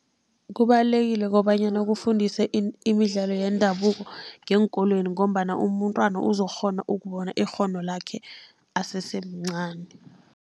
Kubalulekile kobanyana kufundise imidlalo yendabuko ngeenkolweni, ngombana umntwana uzokukghona ukubona ikghono lakhe asese mncani.